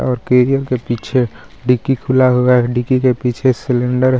और के पीछे डिक्की खुला हुआ है डिक्की के पीछे सिलेंडर --